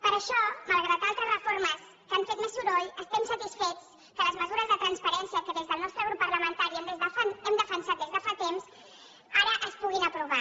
per això malgrat altres reformes que han fet més soroll estem satisfets que les mesures de transparència que des del nostre grup parlamentari hem defensat des de fa temps ara es puguin aprovar